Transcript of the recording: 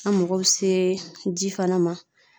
An mago be se ji fana ma